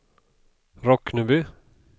Rockneby